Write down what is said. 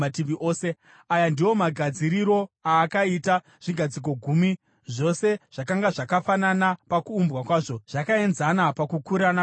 Aya ndiwo magadziriro aakaita zvigadziko gumi. Zvose zvakanga zvakafanana pakuumbwa kwazvo, zvakaenzana pakukura napamaumbirwo.